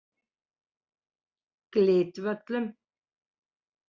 Glitvöllum